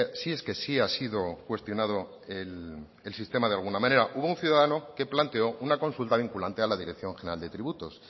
si es que sí ha sido cuestionado el sistema de alguna manera hubo un ciudadano que planteó una consulta vinculante a la dirección general de tributos